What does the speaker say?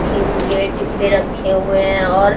क्यों ये डिब्बे रखे हुए हैं और --